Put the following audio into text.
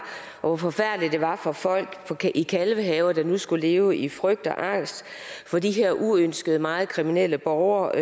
og hvor forfærdeligt det var for folk i kalvehave der nu skulle leve i frygt og angst for de her uønskede meget kriminelle borgere